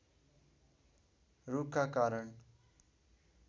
रूखका कारण